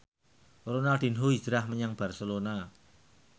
Ronaldinho hijrah menyang Barcelona